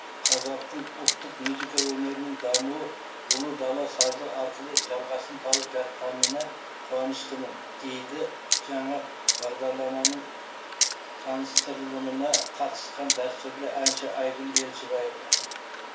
қазақтың ұлттық музыка өнерінің дамуы ұлы дала сазы арқылы жалғасын тауып жатқанына қуаныштымын дейді жаңа бағдарламаның таныстырылымына қатысқан дәстүрлі әнші айгүл елшібаева